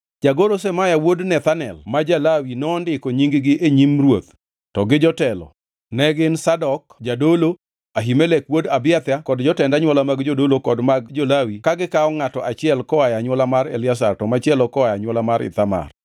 Jagoro Shemaya wuod Nethanel ma ja-Lawi nondiko nying-gi e nyim ruoth, to gi jotelo, ne gin Zadok jadolo, Ahimelek wuod Abiathar kod jotend anywola mag jodolo kod mag jo-Lawi ka gikawo ngʼato achiel koa e anywola mar Eliazar, to machielo koa e anywola mar Ithamar.